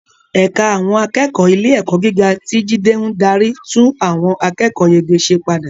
Ẹ̀ka àwọn akẹ́kọ̀ọ́ ilé-ẹ̀kọ́ gíga, tí Jide ń darí, tún àwọn akẹ́kọ̀ọ́yege ṣe padà